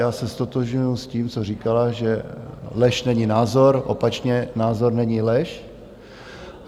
Já se ztotožňuji s tím, co říkala, že lež není názor, opačně - názor není lež.